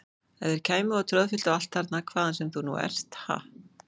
Ef þeir kæmu og troðfylltu allt þarna hvaðan sem þú nú ert, ha!